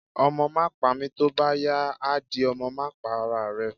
Omo ma pami, tọ bá yá á dí, Ọmọ ma pá ará rẹ́